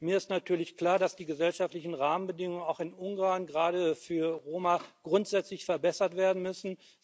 Mir ist natürlich klar, dass die gesellschaftlichen Rahmenbedingungen auch in Ungarn gerade für Roma grundsätzlich verbessert werden müssen.